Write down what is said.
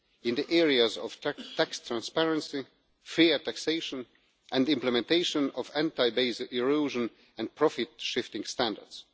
in the areas of tax transparency, fair taxation and the implementation of anti base erosion and profit shifting standards.